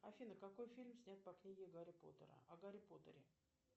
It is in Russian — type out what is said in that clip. афина какой фильм снят по книге гарри поттера о гарри поттере